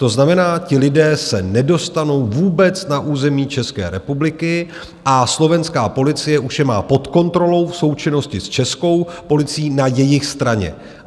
To znamená, ti lidé se nedostanou vůbec na území České republiky a slovenská policie už je má pod kontrolou v součinnosti s českou policií na jejich straně.